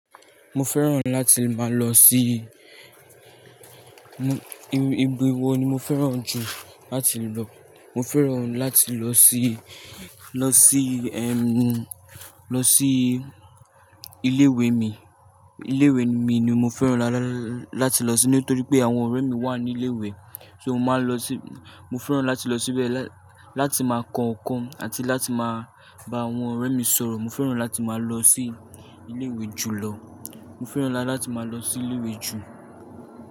Mo fẹ́ràn láti máa lọ sí I-ibí wo ni mo fẹ́ràn jù láti lọ? Mo fẹ́ràn láti lọ sí, lọ sí, ẹm, lọ sí ilé ìwé mi. Ilé ìwé mi ni mo fẹ́ràn lá-lá-láti lọ sí nítorí pé àwọn ọ̀rẹ́ mi wà ní ilé ìwé. So mo máa ń lọ sí Mo fẹ́ràn láti lọ síbẹ̀ lá-láti máa kọ nnkan àti láti máa bá àwọn ọ̀rẹ́ mi sọ̀rọ̀. Mo fẹ́ràn láti máa lọ sí ilé ìwé jùlọ. Mo fẹ́ràn láti máa lọ sí ilé ìwé jù.